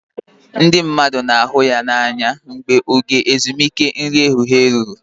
Ndị mmadụ na-ahụ ya n'anya mgbe oge ezumike nri ehihie ruru